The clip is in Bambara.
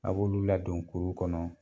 A b'olu ladon kurun kɔnɔ